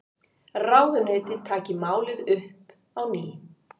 Ráðuneytið taki málið upp á ný